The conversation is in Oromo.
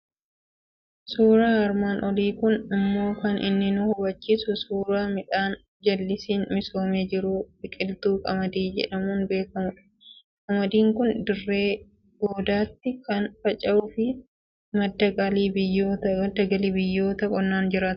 Suuraan armaan olii kun immoo kan inni nu hubachiisu suuraa midhaan jallisiin misoomee jiru, biqiltuu qamadii jedhamuun beekamudha. Qamadiin kun dirree goodaatti kan faca'uu fi madda galii biyyoota qonnaan jiraataniiti.